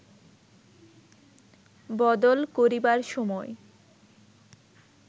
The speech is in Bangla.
বদল করিবার সময়